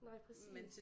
Nej præcis